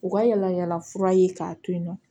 U ka yalayala fura ye k'a to yen nɔ